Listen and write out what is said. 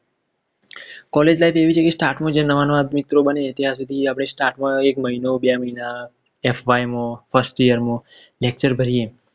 college life એવી છે કે સ્ટાફમાં નવા નવા મિત્ર બને ત્યાં સુઘી આપણે staff માં એક મહિનો બે મહિના lecture ભરીયે